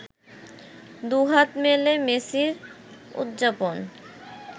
দুহাত মেলে মেসির উদযাপন